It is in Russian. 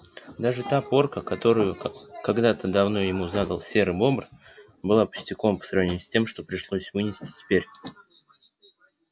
даже та порка которую когда-то давно ему задал серый бобр была пустяком по сравнению с тем что пришлось вынести теперь